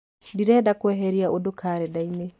ndĩrenda kweheria ũndũ karenda-inĩ